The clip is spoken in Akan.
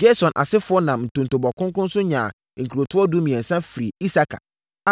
Gerson asefoɔ nam ntontobɔ kronkron so nyaa nkurotoɔ dumiɛnsa firii Isakar,